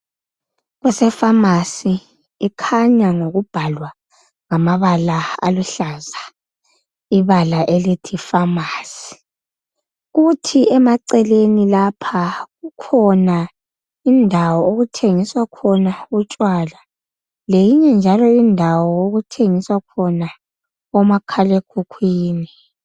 Kuse-pharmacy, ikhanya ngokubhalwa ngamabala aluhlaza ibala elithi "pharmacy ". Kuthi emaceleni lapha kukhona indawo okuthengiswa khona utshwala, leyinye njalo indawo okuthengiswa khona omakhal'ekhukhwini.